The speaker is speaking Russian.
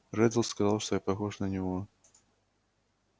реддл сказал что я похож на него